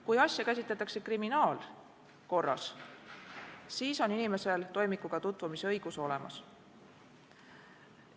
Kui asja käsitletakse kriminaalkorras, siis on inimesel toimikuga tutvumise õigus olemas.